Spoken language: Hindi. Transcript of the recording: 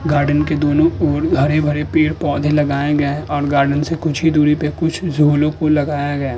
गार्डन के दोनों और हरे-भरे पेड़-पौधे लगाए गए हैं और गार्डन के कुछ ही दूरी पे कुछ झोलो लगाया गया --